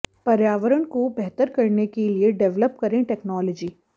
पर्यावरण को बेहतर करने के लिए डेवलप करें टेक्नोलॉजी